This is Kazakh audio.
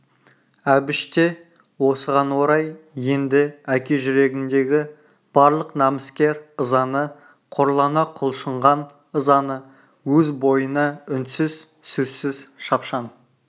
әбіш те осыған орай енді әке жүрегіндегі барлық намыскер ызаны қорлана құлшынған ызаны өз бойына үнсіз сөзсіз шапшаң